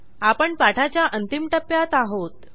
आपण पाठाच्या अंतिम टप्प्यात आहोत